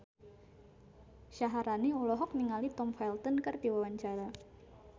Syaharani olohok ningali Tom Felton keur diwawancara